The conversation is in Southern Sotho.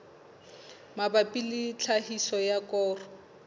mabapi le tlhahiso ya koro